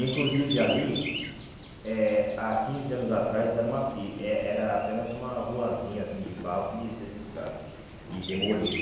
Inclusive ali, eh há quinze anos atrás, era uma eh era apenas uma ruazinha assim de barro que descia as escadas e demoliram.